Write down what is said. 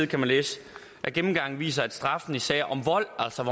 kan man læse at gennemgangen viser at straffen i sager om vold altså